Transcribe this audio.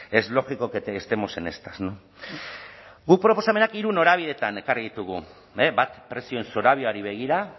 es lógico que estemos en estas no guk proposamenak hiru norabidetan ekarri ditugu bat prezioen zorabioari begira